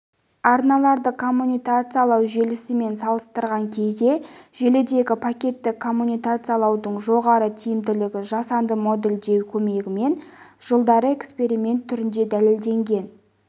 арналарды комутациялау желісімен салыстырған кезде желідегі пакетті коммутациялаудың жоғары тиімділігі жасанды модельдеу көмегімен жылдары эксперимент түрінде дәлелденген